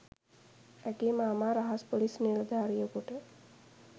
ඇගේ මාමා රහස් පොලිස් නිලධාරියකුට